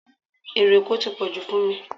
Ero Èkó tí pọ̀jù fún mi